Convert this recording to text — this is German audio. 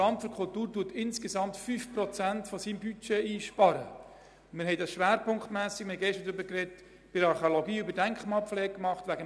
Wir haben das wegen des Benchmarks schwerpunktmässig bei der Archäologie und bei der Denkmalpflege vorgenommen.